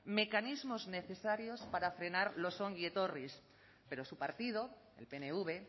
mecanismos necesarios para frenar los ongietorris pero su partido el pnv